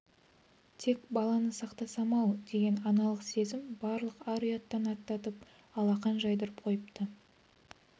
тек баланы сақтасам-ау деген аналық сезім барлық ар-ұяттан аттатып алақан жайдырып қойыпты